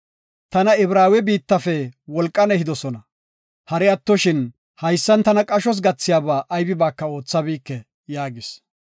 Tana Ibraawe biittafe wolqan ehidosona. Hari attoshin, haysan tana qashos gathiyaba aybibaaka oothabike” yaagis.